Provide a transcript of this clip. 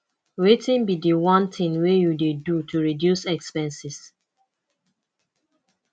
wetin be di one thing you dey do to reduce expenses